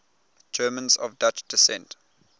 germans of dutch descent